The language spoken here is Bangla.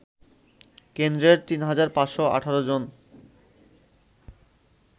কেন্দ্রের ৩৫১৮ জন